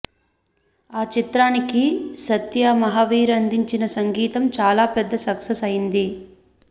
ఈ చిత్రానికి సత్య మహావీర్ అందించిన సంగీతం చాలా పెద్ద సక్సెస్ అయింది